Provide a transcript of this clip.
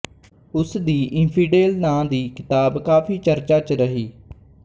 ਉਸਦੀ ਇੰਫ਼ੀਡੇਲ ਨਾਂ ਦੀ ਕਿਤਾਬ ਕਾਫੀ ਚਰਚਾ ਚ ਰਹੀ